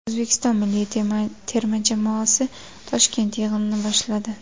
O‘zbekiston milliy terma jamoasi Toshkent yig‘inini boshladi .